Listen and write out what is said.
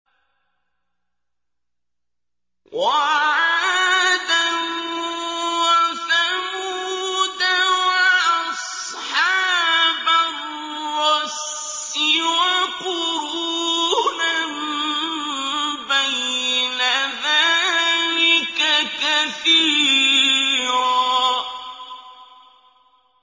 وَعَادًا وَثَمُودَ وَأَصْحَابَ الرَّسِّ وَقُرُونًا بَيْنَ ذَٰلِكَ كَثِيرًا